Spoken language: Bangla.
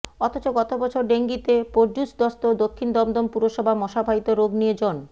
অথচ গত বছর ডেঙ্গিতে পর্যুদস্ত দক্ষিণ দমদম পুরসভা মশাবাহিত রোগ নিয়ে জন